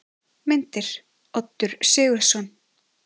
Myndir: Oddur Sigurðsson.